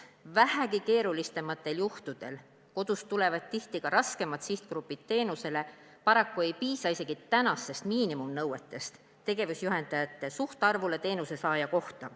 Vähegi keerulisematel juhtudel – kodust tulevad tihti ka raskemad sihtgrupid teenust saama – ei piisa isegi paraku tänastest miinimumnõuetest, milline on tegevusjuhendajate suhtarv teenusesaaja kohta.